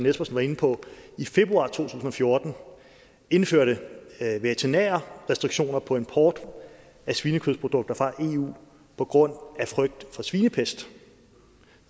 espersen var inde på i februar to tusind og fjorten indførte veterinære restriktioner på import af svinekødsprodukter fra eu på grund af frygt for svinepest